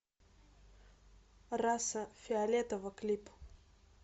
раса фиолетово клип